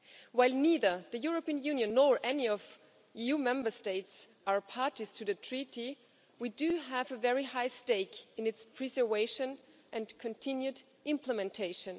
While neither the European Union nor any of the EU Member States are parties to the treaty, we do have a very high stake in its preservation and continued implementation.